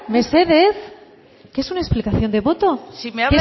mesedez que es una explicación de voto si me